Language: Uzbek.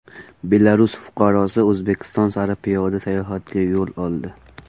Belarus fuqarosi O‘zbekiston sari piyoda sayohatga yo‘l oldi.